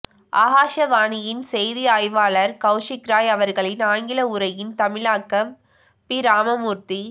ஆகாஷவாணியின் செய்தி ஆய்வாளர் கௌஷிக் ராய் அவர்களின் ஆங்கில உரையின் தமிழாக்கம் பி ராமமூர்த்தி